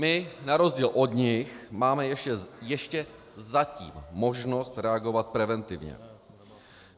My na rozdíl od nich máme ještě zatím možnost reagovat preventivně.